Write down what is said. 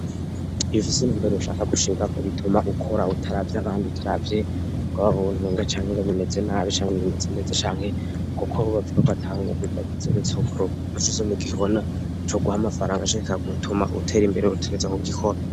Ibifise numbere wushaka gushika ko bituma ukora uwutaravyo abandi utaravye go ababuntinga canke ngo bimeze nabi canke bimeze neza canke, kuko hubavkoko atanguga bidagizoresakkurugnocizo mu gihona co guha amafaranga chika gutuma uwutera imbere rutegeza ku gikora.